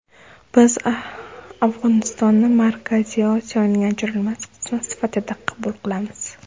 Biz Afg‘onistonni Markaziy Osiyoning ajralmas qismi sifatida qabul qilamiz.